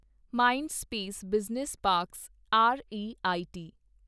Mindspace business parks rate